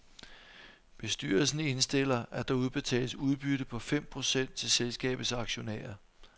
Bestyrelsen indstiller, at der udbetales udbytte på fem procent til selskabets aktionærer.